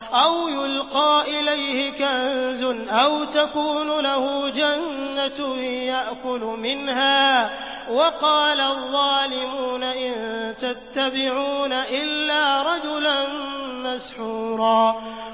أَوْ يُلْقَىٰ إِلَيْهِ كَنزٌ أَوْ تَكُونُ لَهُ جَنَّةٌ يَأْكُلُ مِنْهَا ۚ وَقَالَ الظَّالِمُونَ إِن تَتَّبِعُونَ إِلَّا رَجُلًا مَّسْحُورًا